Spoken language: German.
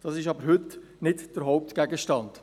Dies ist aber heute nicht der Hauptgegenstand.